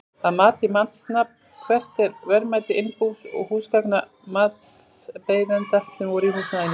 Að mati matsmanns, hvert er verðmæti innbús og húsgagna matsbeiðanda sem voru í húsnæðinu?